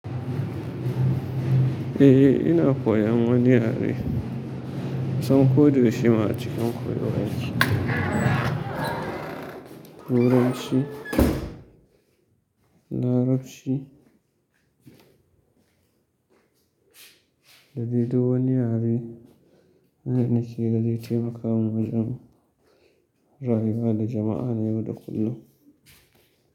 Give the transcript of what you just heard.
Eh, ina koyan wani yare. Kusan ko da yaushe ma a cikin koyo yake. Turanci, Larabci. Da dede wani yare, da naki ga zai taimaka min wajen rayuwa da jama'a na yau da kullum.